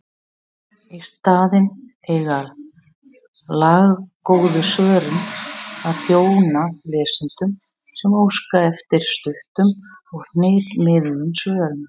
Í staðinn eiga laggóðu svörin að þjóna lesendum sem óska eftir stuttum og hnitmiðuðum svörum.